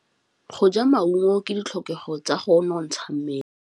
Go ja maungo ke ditlhokegô tsa go nontsha mmele.